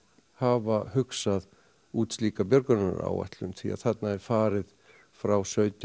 hafa hugsað út slíka björgunaráætlun því þarna er farið frá sautján